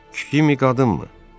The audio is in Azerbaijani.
Kim? Qadınmı?